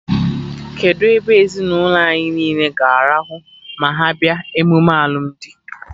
Kedụ ebe ndị ezinụlọ anyị niile ga-arahụ ma ha bịa emume alụmdi?